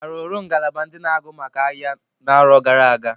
Arụrụ ngalaba ndị na agụ maka ahịa n'arọ gara aga?